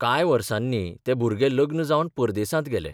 कांय वर्सनी तें भुरगें लग्न जावन परदेसांत गेलें.